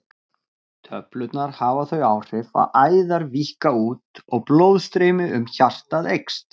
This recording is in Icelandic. Töflurnar hafa þau áhrif að æðar víkka út og blóðstreymi um hjartað eykst.